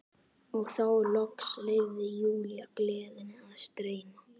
Og þá loks leyfði Júlía gleðinni að streyma.